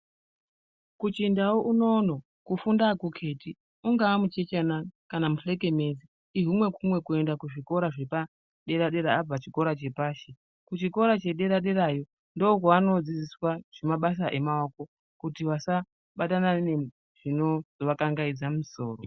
Kuchindau unono kufunda akukheti, ungaa muchechana kana nzekenezi, ihumwe kumwe kuenda kuzvikora zvepadera-dera abva kuchikora chepashi. Kuchikora chedera derayo ndokwevanodzidziswa zvemabasa emaoko, kuti vasabatana nezvinovakangaidza musoro.